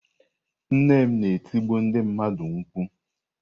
Nne m na-etibu ndị mmadụ mkpu.